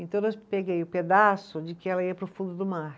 Então nós, peguei o pedaço de que ela ia para o fundo do mar.